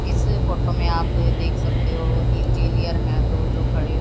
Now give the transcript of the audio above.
इस फोटो में आप देख सकते हो इंजीनियर हैं दो जो खड़े--